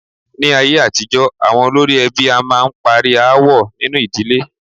Ní ayé àtijọ́, àwọn olórí ẹbí a máà ń parí aáwọ̀ nínu ìdílé.